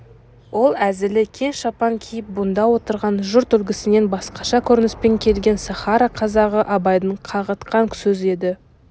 ол әзілі кең шапан киіп бұнда отырған жұрт үлгісінен басқаша көрініспен келген сахара қазағы абайды қағытқан сөз еді